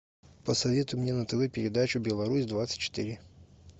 посоветуй мне на тв передачу беларусь двадцать четыре